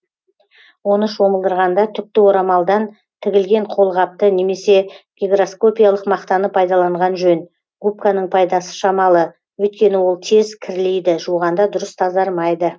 оны шомылдырғанда түкті орамалдан тігілген қолғапты немесе гигроскопиялық мақтаны пайдаланған жөн губканың пайдасы шамалы өйткені ол тез кірлейді жуғанда дұрыс тазармайды